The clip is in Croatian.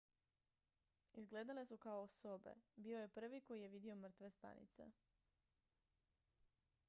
izgledale su kao sobe bio je prvi koji je vidio mrtve stanice